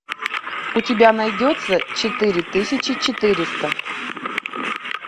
у тебя найдется четыре тысячи четыреста